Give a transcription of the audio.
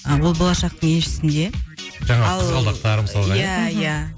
ы ол болашақтың еншісінде ал жаңағы қызғалдақтар мысалы иә иә